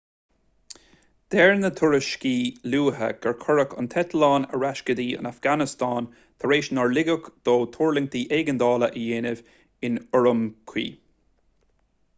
deir na tuairiscí luatha gur cuireadh an t-eitleán ar ais go dtí an afganastáin tar éis nár ligeadh dó tuirlingt éigeandála a dhéanamh in ürümqi